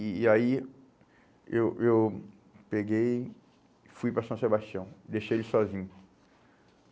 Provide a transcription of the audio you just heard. E e aí eu eu peguei e fui para São Sebastião, deixei ele sozinho.